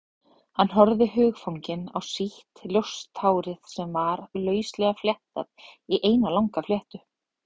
Hann horfði hugfanginn á sítt, ljóst hárið sem var lauslega fléttað í eina langa fléttu.